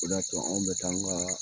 O de y'a to anw be t'an ga